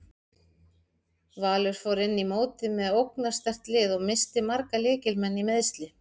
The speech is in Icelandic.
Valur fór inn í mótið með ógnarsterkt lið og missti marga lykil leikmenn í meiðsli.